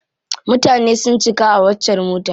Mutane sun cika a waccar motar.